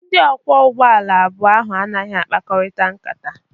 Ndị ọkwọ ụgbọala n'abụọ ahụ anaghị akparịta ụka.